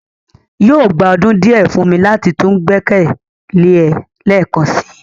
yóò gba ọdun diẹ fun mi lati tun gbẹkẹle ẹ lẹẹkansi